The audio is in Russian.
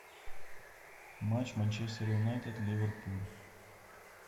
матч манчестер юнайтед ливерпуль